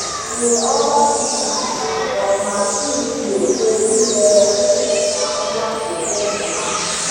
Nye ọba ji ikuku nke ọma iji gbochie ire ere na mwakpo ụmụ ahụhụ.